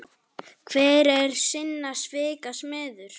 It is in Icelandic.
Hver er sinna svika smiður.